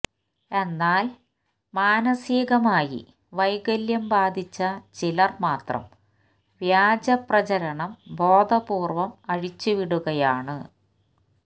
എന്നാല് മാനസികമായി വൈകല്യം ബാധിച്ച ചിലര് മാത്രം വ്യാജപ്രചരണം ബോധപൂര്വ്വം അഴിച്ചുവിടുകയാണ്